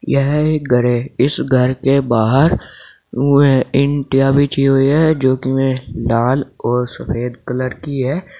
यह एक घर है इस घर के बाहर ऊं हैं इंटियां बिछी हुई हैं जो कि में लाल और सफेद कलर की है।